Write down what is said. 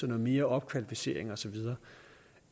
noget mere opkvalificering osv